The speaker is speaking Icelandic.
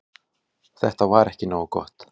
Þetta var ekki nógu gott.